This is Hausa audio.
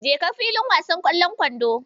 Jeka filin wasan ƙwallon kwandon.